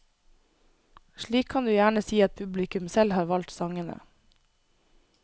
Slik kan du gjerne si at publikum selv har valgt sangene.